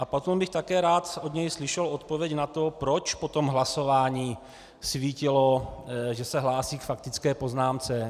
A potom bych také rád od něj slyšel odpověď na to, proč po tom hlasování svítilo, že se hlásí k faktické poznámce.